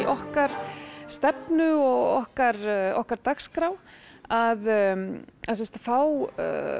okkar stefnu og okkar okkar dagskrá að fá